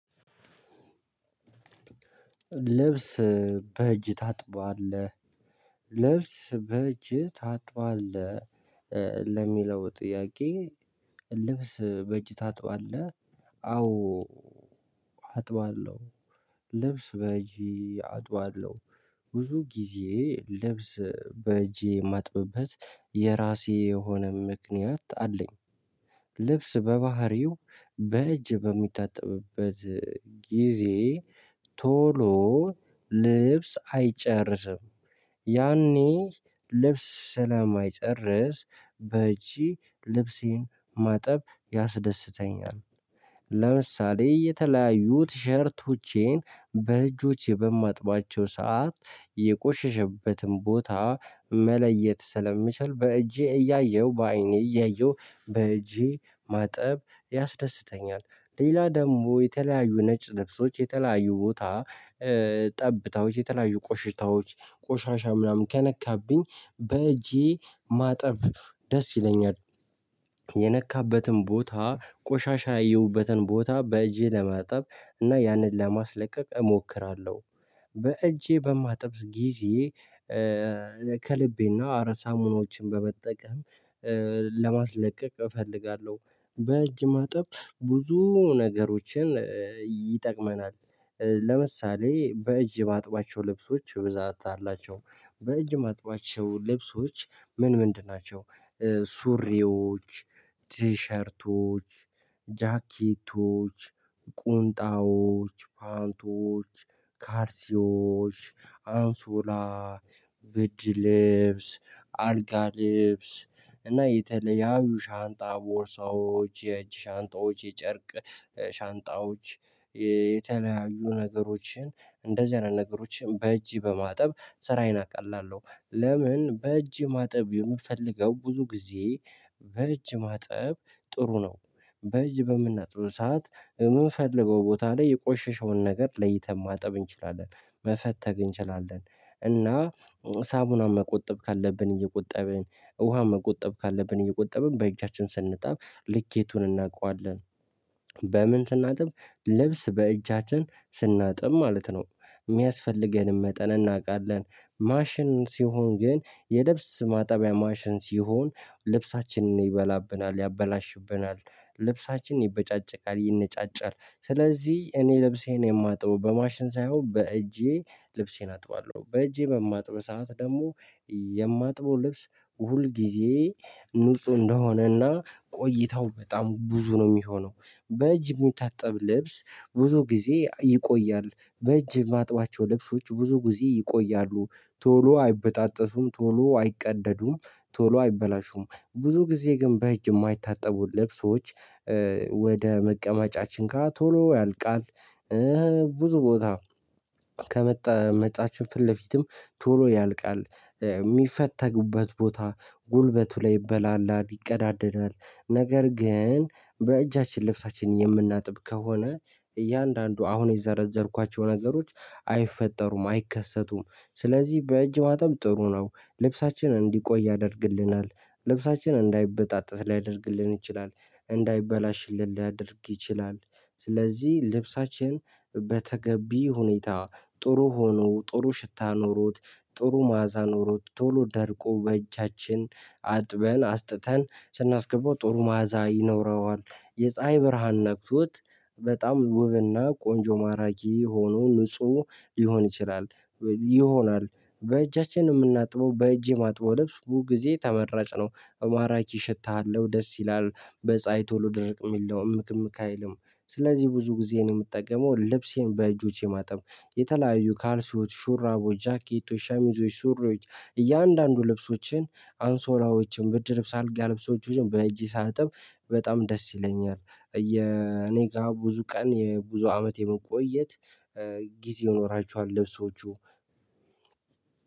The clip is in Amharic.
ልብስ በእጅ ታጥባለህ ልብስ በእጅህ ታጥባለህ ለሚለው ጥያቄ ልብስ በእጅ ታጥባለህ? አዎ አጥባለሁ ልብስ በእጅ አጥባለሁ ብዙ ጊዜ ልብስ በእጄ ማጥብበት የራሴ የሆነ ምክንያት አለኝ። ልብስ በባህሪው በእጅ በሚታጠብበት ጊዜ ቶሎ ልብስ አይጨርስም ያኔ ልብስ ሰለማይጨርስ በእጅ ልብሴን ማጠብ ያስደስተኛል። ለምሳሌ የተለያዩ ቲሸርቶቼን በእጆቼ በማጥባቸው የቆሸሸበትን ቦታ መለየት ስለምችል በእጄ እያየሁ በአይኔ እያየሁ በእጄ ማጠብ ያስደስተኛል። ሌላ ደግሞ የተለያዩ ነጭ ልብሶች የተለያዩ ቦታ ጠብታዎች የተለያዩ ቆሽታዎች ቆሻሻ ምናምን ከነካብኝ በእጄ ማጠብ ደስ ይለኛል። የነካበትን ቦታ ቆሻሻ ያየሁበትን ቦታ በእጄ ለማጠብ እና ያንን ለማስለቀቅ እሞክራለሁ። በእጄ በማጥብ ጊዜ ከልቤና ሳሙናዎችን በመጠቀም ለማስለቀቅ እፈልጋለሁ። በእጅ ማጠብ ብዙ ነገሮችን ይጠቅመናል። ለምሳሌ በእጅ ማጥባቸው ልብሶች ብዛት አላቸው በእጅ ማጥባቸው ልብሶች ምን ምንድን ናቸው? ሱሪዎች ቲሸርቶች ጃኬቶች ቁንጣዎች ፓንቶች ካርሲዎች አንሶላ ብድ ልብስ አልጋ ልብስ እና የተለያዩ ሻንጣ ቦርሳዎች የእጅ ሻንጣዎች የጨርቅ ሻንጣዎች የተለያዩ ነገሮችን እንደዚህ አይነት ነገሮችን በእጅ በማጠብ ስራዬን አቃላለሁ። ለምን በእጅ ማጠብ የምፈልገው ብዙ ጊዜ በእጅ ማጠብ ጥሩ ነው። በእጅ በምናጥብ ሰዓት የምንፈልገው ቦታ ላይ የቆሸሸውን ነገር ለይተን ማጠብ እንችላለን። መፈተግ እንችላለን እና ሳሙና መቆጠብ ካለብን እየቆጠብን ውሃ መቆጠብ ካለብን እየቆጠብን በእጃችን ስንጣብ ልኬቱን እናቀዋለን። በምን ስናጥብ ልብስ በእጃችን ስናጥብ ማለት ነው ሚያስፈልገንም መጠን እናውቃለን። ማሽን ሲሆን ግን የልብስ ማጠቢያ ማሽን ሲሆን ልብሳችንን ይበላብናል ያበላሽብናል ልብሳችን ይበጫጨቃል ይነጫጫል ስለዚህ እኔ ልብሴን የማጥበው በማሽን ሳይሆን በእጄ ልብሴን አጥባለሁ። በእጄ በማጥብ ሰዓት ደግሞ የማጥበው ልብስ ሁል ጊዜ ንጹ እንደሆነና ቆይታው በጣም ብዙ ነው ሚሆነው። በእጅ ምታጠብ ልብስ ብዙ ጊዜ ይቆያል በእጅ ማጥባቸው ልብሶች ብዙ ጊዜ ይቆያሉ ቶሎ አይበጣጠሱም ቶሎ አይቀደዱም ቶሎ አይበላሹም ብዙ ጊዜ ግን በእጅ ማይታጠቡ ልብሶች። ወደ መቀመጫችን ጋ ቶሎ ያልቃል። ብዙ ቦታ ከመቀመጫችን ፊት ለፊትም ቶሎ ያልቃል። የሚፈተጉበት ቦታ ጉልበቱ ላይ ይበላላል ይቀዳደዳል ነገር ግን በእጃችን ልብሳችን የምናጥብ ከሆነ እያንዳንዱ አሁን የዘረዘርኳቸው ነገሮች አይፈጠሩም አይከሰቱም። ስለዚህ በእጅ ማጠብ ጥሩ ነው ልብሳችን እንዲቆይ ያደርግልናል። ልብሳችን እንዳይበጣጠስ ሊያደርግልን ይችላል። እንዳይበላሽልን ሊያደርግ ይችላል። ስለዚህ ልብሳችን በተገቢ ሁኔታ ጥሩ ሆኖ ጥሩ ሽታ ኖሮት ጥሩ ማዕዛ ኖሮት ቶሎ ደርቆ በእጃችን አጥበን አስጥተን ስናስገባው ጦሩ ማዕዛ ይኖረዋል። የፀሀይ ብርሃን ነክቶት በጣም ውብና ቆንጆ ማራኪ ሆኖ ንጹህ ሊሆን ይችላል። ይሆናል በእጃችን ምናጥበው በእጄ ማጥበው ልብስ ብዙ ጊዜ ተመራጭ ነው እ ማራኪ ሽታ አለሁ ደስ ይላል በፀሀይ ቶሎ ድርቅ ሚል ነው እምክ እምክ አይልም። ስለዚህ ብዙ ጊዜ እኔ ምጠቀመው ልብሴን በእጆቼ ማጠብ የተለያዩ ካልሲዎች ሹራቦች ጃኬቶች ሸሚዞች ሱሪዎች እያንዳንዱ ልብሶችን አንሶላዎችን ብድር ልብስ አልጋ ልብሶችን በእጄ ሳጥብ። በጣም ደስ ይለኛል። የኔ ጋ ብዙ ቀን የብዙ አመት የመቆየት ጊዜ ይኖራችኋል ልብሶቹ።